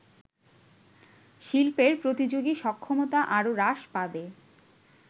শিল্পের প্রতিযোগী সক্ষমতা আরও হ্রাস পাবে